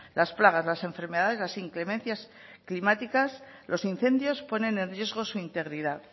las plagas las enfermedades las inclemencias climáticas los incendios ponen en riesgo su integridad